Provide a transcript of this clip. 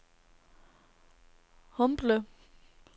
Humble